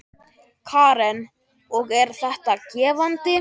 Karen: Og er þetta gefandi?